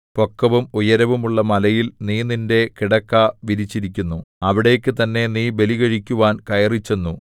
പൊക്കവും ഉയരവും ഉള്ള മലയിൽ നീ നിന്റെ കിടക്ക വിരിച്ചിരിക്കുന്നു അവിടേക്കു തന്നെ നീ ബലികഴിക്കുവാൻ കയറിച്ചെന്നു